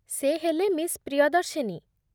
ସେ ହେଲେ ମିସ୍ ପ୍ରିୟଦର୍ଶିନୀ ।